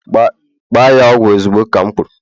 Gba ya ogwu ozugbo ka'm kwuru!